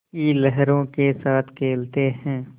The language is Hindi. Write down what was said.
की लहरों के साथ खेलते हैं